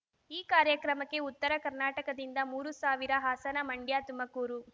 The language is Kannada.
ಈ ಕಾರ್ಯಕ್ರಮಕ್ಕೆ ಉತ್ತರ ಕರ್ನಾಟಕದಿಂದ ಮೂರು ಸಾವಿರ ಹಾಸನ ಮಂಡ್ಯ ತುಮಕೂರು